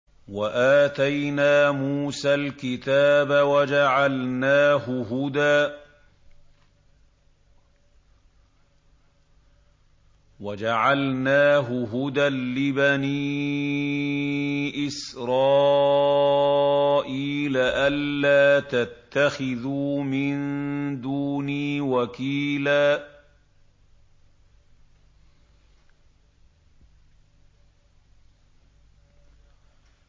وَآتَيْنَا مُوسَى الْكِتَابَ وَجَعَلْنَاهُ هُدًى لِّبَنِي إِسْرَائِيلَ أَلَّا تَتَّخِذُوا مِن دُونِي وَكِيلًا